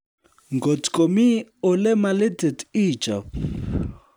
Ngotkomi olemalitit ichob